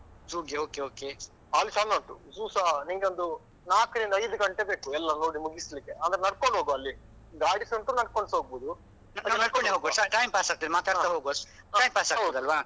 Zoo ಗೆ okay okay. ಅಲ್ಲಿ ಚಂದ ಉಂಟು zoo ಸ ನಿಂಗೊಂದು ನಾಕರಿಂದ ಐದು ಗಂಟೆ ಬೇಕು ಎಲ್ಲ ನೋಡಿ ಮುಗಿಸ್ಲಿಕ್ಕೆ, ಅಂದ್ರೆ ನಡ್ಕೊಂಡು ಹೋಗುವ ಅಲ್ಲಿ ಗಾಡಿಸ ಉಂಟು ನಡ್ಕೊಂಡುಸಾ ಹೋಗ್ಬೋದು. ನಾವು ನಡ್ಕೊಂಡೆ ಹೋಗುವ time pass ಆಗ್ತದೆ. ಮಾತಾಡ್ತಾ ಹೋಗುವ. time pass ಆಗ್ತದೆ ಅಲ್ವಾ.